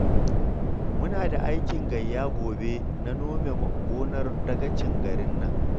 Muna da aikin gayya gobe na nome gonar dagacin garin nan